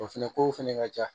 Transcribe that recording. O fɛnɛ kow fɛnɛ ka ca